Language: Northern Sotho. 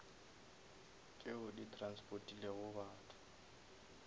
tšeo di transportilego batho